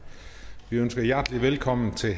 vi ønsker hjertelig velkommen til